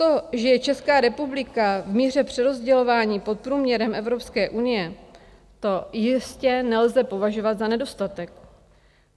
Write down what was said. To, že je Česká republika v míře přerozdělování pod průměrem Evropské unie, to jistě nelze považovat za nedostatek.